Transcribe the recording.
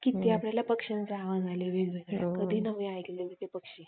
किती आपल्याला पक्ष्यांचे आवाज आले वेगवेगळे कधी नव्हे ऐकलेले ते पक्षी